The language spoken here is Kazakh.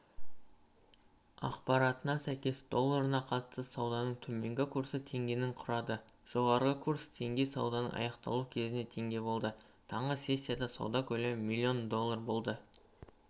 ақпаратына сәйкес долларына қатысты сауданың төменгі курсы теңгені құрады жоғарғыкурс теңге сауданың аяқталуы кезінде теңге болды таңғысессияда сауда көлемі млн долларболды